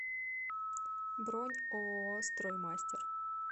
бронь ооо строймастер